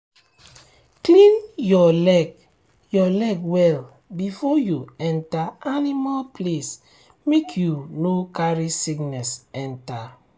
clean your leg your leg well before you enter animal place make you no carry sickness enter.